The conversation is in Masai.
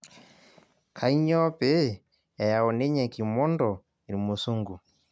Kanyoo pee eyau ninye kimondo irmusungu